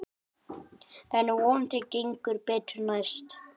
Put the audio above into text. En vonandi gengur betur næst.